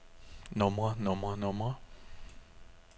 numre numre numre